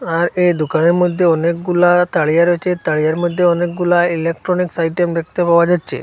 আর এই দোকানের মধ্যে অনেকগুলা তাড়িয়া রয়েছে তাড়িয়ার মধ্যে অনেকগুলা ইলেকট্রনিক্স আইটেম দেখতে পাওয়া যাচ্ছে।